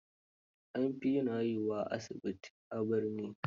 An fi yin haihuwar asibiti, a birane.